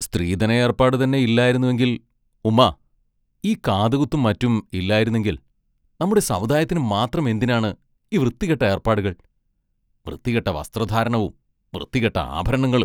സ്ത്രീധനയേർപ്പാടുതന്നെ ഇല്ലായിരുന്നുവെങ്കിൽ ഉമ്മാ, ഈ കാതുകുത്തും മറ്റും ഇല്ലായിരുന്നെങ്കിൽ നമ്മുടെ സമുദായത്തിനുമാത്രം എന്തിനാണ് ഈ വൃത്തികെട്ട ഏർപ്പാടുകൾ വൃത്തികെട്ട വസ്ത്രധാരണവും വൃത്തികെട്ട ആഭരണങ്ങളും...